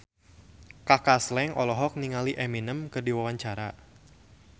Kaka Slank olohok ningali Eminem keur diwawancara